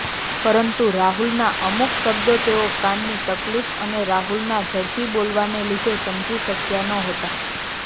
પરંતુ રાહુલનાં અમુક શબ્દો તેઓ કાનની તકલીફ અને રાહુલનાં ઝડપી બોલવાને લીધે સમજી શકયાં નહોતાં